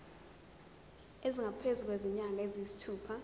esingaphezu kwezinyanga eziyisithupha